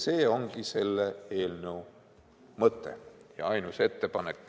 See ongi eelnõu mõte ja ainus ettepanek.